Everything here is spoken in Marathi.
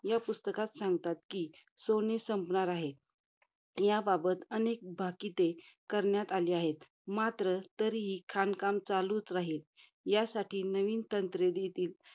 या पुस्तकात सांगतात कि, सोने संपणार आहे. याबाबत अनेक भाकिते करण्यात आली आहेत. मात्र तरीही खाणकाम चालूच राहील. यासाठी नवीन तंत्रे घेतील.